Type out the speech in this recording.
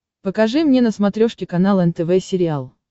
покажи мне на смотрешке канал нтв сериал